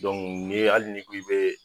nin ye hali ni ku i bɛ.